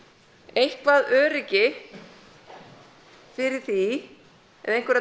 eitthvað öryggi fyrir því eða einhverja